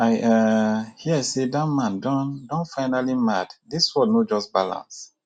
i um hear say dat man don don finally dey mad dis world no just balance